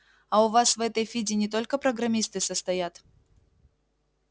а у вас в этой фиде не только программисты состоят